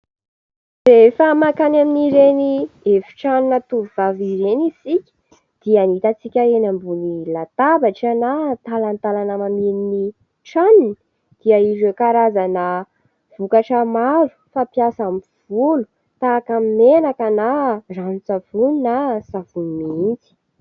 Rehefa makany amin'ireny efin-tranona tovovavy ireny isika dia ny hitan-tsika eny ambonin'ny latabatra na talatalana eny amin'ny tranony dia ireo karazana vokatra maro fampiasa amin'ny volo tahaka ny menaka na ranon-tsavony na savony mihitsy.